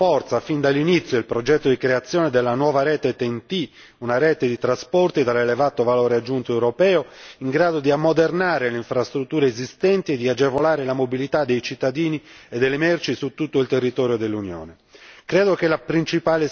Ho pertanto sostenuto con forza fin dall'inizio il progetto di creazione della nuova rete TEN T, una rete di trasporti dall'elevato valore aggiunto europeo in grado di ammodernare le infrastrutture esistenti e di agevolare la mobilità dei cittadini e delle merci su tutto il territorio dell'Unione.